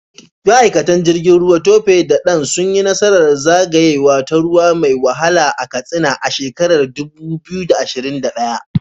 Ma’aikatan jirgin ruwa Tope da Dan sun yi nasarar zagayawa ta ruwa mai wahala a Katsina a shekarar 2021.